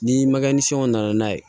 Ni maga ni sɔn na n'a ye